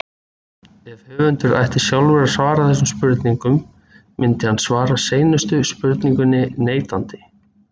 Ef höfundur ætti sjálfur að svara þessum spurningum myndi hann svara síðustu spurningunni neitandi.